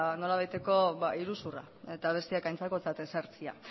nolabaiteko iruzurra eta besteak aintzakotzat ezartzea